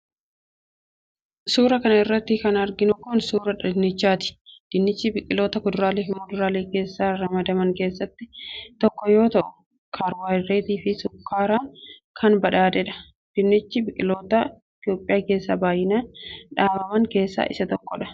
Suura kana irratti kan arginu kun ,suura dinnichaati. Dinnichi biqiloota kuduraalee fi muduraalee keessatti ramadaman keessaa tokko yoo ta'u, kaarboohaydreetii fi sukkaaran kan badhaadheedha. Dinnichi biqiloota Itoophiyaa keessatti baay'inaan dhaabaman keessaa isa tokko.